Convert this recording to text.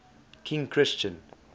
king christian